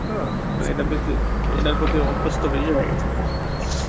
তো মানে দেকতে~ এটার প্রতি অভ্যস্ত বেশি হয়ে গেছি আমি